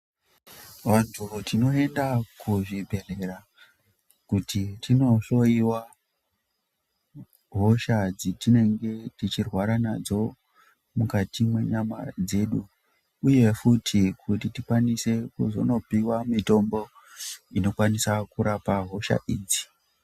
Vantu tinoenda kuzvibhehlera kuti tinohlowiwa hosha dzetinenge tichirwara nadzo mukati mwenyama dzedu uye futi kuti tikwanise kuzonopiwa mitombo inokwanisa kurapa hosha idzi.